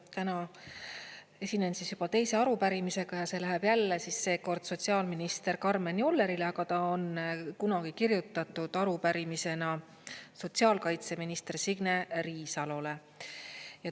Täna esinen siis juba teise arupärimisega ja see läheb jälle seekord sotsiaalminister Karmen Jollerile, aga ta on kunagi kirjutatud arupärimisena sotsiaalkaitseminister Signe Riisalole.